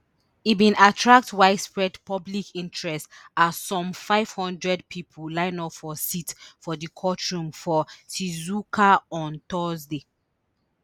e bin attract widespread public interest as some five hundred pipo line up for seats for di courtroom for shizuoka on thursday